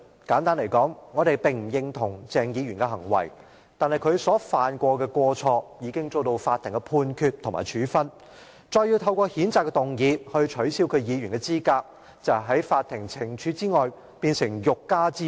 簡單而言，我們不認同鄭議員的行為，但他所犯的過錯已遭受法庭判決及處分；要再透過譴責議案來取消他的議員資格，便成了法庭懲處外的欲加之罪。